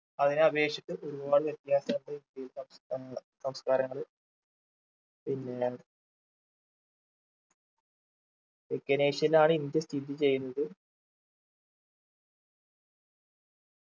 അതിനെ അപേക്ഷിച്ച് ഒരുപാട് വ്യത്യാസമുണ്ട് ഈ സംസ്ഥാ ഏർ സംസ്കാരങ്ങൾ പിന്നെ തെക്കനേഷ്യയിലാണ് ഇന്ത്യ സ്ഥിതി ചെയ്യുന്നത്